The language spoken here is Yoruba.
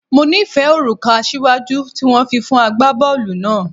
Mo nifẹ oruka asiwaju ti wọn fi fun agbabọọlu naa.